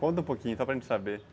Conta um pouquinho, só para gente saber.